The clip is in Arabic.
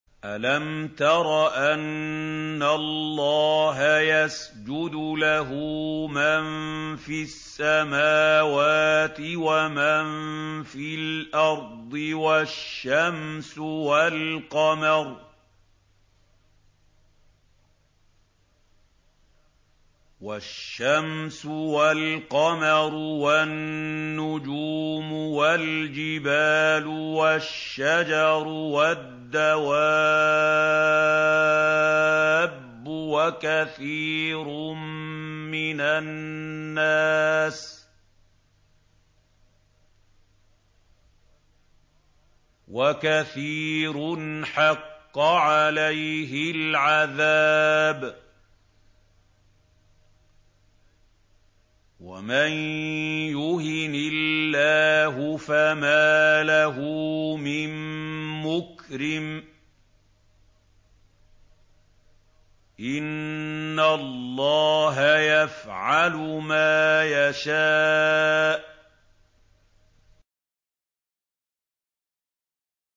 أَلَمْ تَرَ أَنَّ اللَّهَ يَسْجُدُ لَهُ مَن فِي السَّمَاوَاتِ وَمَن فِي الْأَرْضِ وَالشَّمْسُ وَالْقَمَرُ وَالنُّجُومُ وَالْجِبَالُ وَالشَّجَرُ وَالدَّوَابُّ وَكَثِيرٌ مِّنَ النَّاسِ ۖ وَكَثِيرٌ حَقَّ عَلَيْهِ الْعَذَابُ ۗ وَمَن يُهِنِ اللَّهُ فَمَا لَهُ مِن مُّكْرِمٍ ۚ إِنَّ اللَّهَ يَفْعَلُ مَا يَشَاءُ ۩